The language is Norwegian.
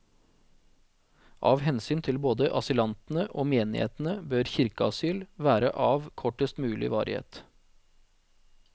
Av hensyn til både asylantene og menighetene bør kirkeasyl være av kortest mulig varighet.